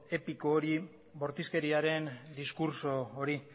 epiko hori bortizkeriaren diskurtso hori